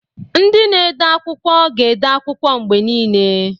Ndị na-ede akwụkwọ ga-ede akwụkwọ mgbe niile.